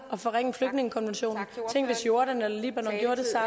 og forringe flygtningekonventionen tænk hvis jordan eller libanon